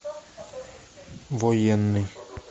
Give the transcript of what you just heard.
военный